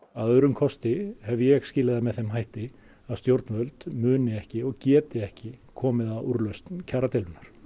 að öðrum kosti hef ég skilið það með þeim hætti að stjórnvöld muni ekki og geti ekki komið að úrlausn kjaradeilunnar